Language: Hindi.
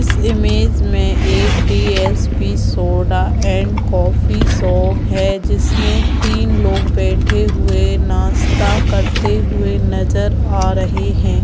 इस इमेज में एक DSP soda and coffee shop है जिसमें तीन लोग बैठे हुए नाश्ता करते हुए नजर आ रहे हैं।